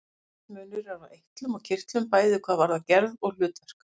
Mikill munur er á eitlum og kirtlum, bæði hvað varðar gerð og hlutverk.